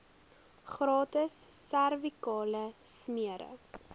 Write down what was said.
gratis servikale smere